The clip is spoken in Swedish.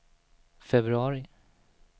februari